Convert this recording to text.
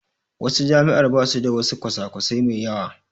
Wasu jami'ar basu da wasu kwasa kwasai mai yawa